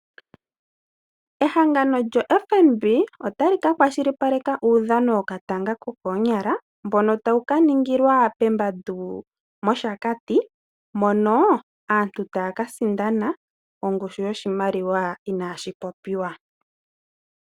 Ehangano lyo FNB otali kakwashilipaleka uudhano wokatanga kokoonyala mbono tawu kaningilwa pEmbandu mOshakati, mono aantu taya kasindana ongushu yoshimaliwa inashi popiwa.